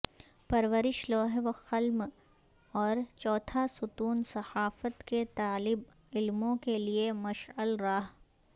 پرورش لوح و قلم اور چوتھا ستون صحافت کے طالب علموں کیلئےمشعل راہ